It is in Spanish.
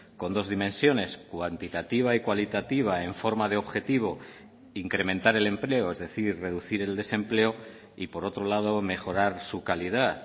con dos dimensiones cuantitativa y cualitativa en forma de objetivo incrementar el empleo es decir reducir el desempleo y por otro lado mejorar su calidad